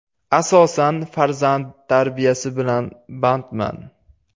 Asosan farzand tarbiyasi bilan bandman.